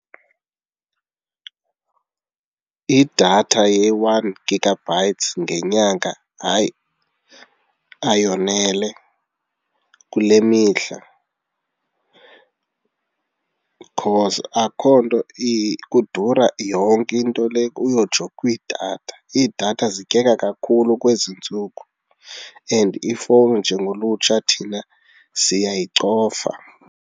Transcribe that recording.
Idatha ye-one gigabytes ngenyanga hayi, ayonele, kule mihla because akho nto kudura yonke into le uyotsho kwidatha. Iidatha zityeka kakhulu kwezi ntsuku and ifowuni njengolutsha thina siyayicofa.